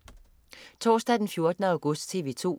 Torsdag den 14. august - TV 2: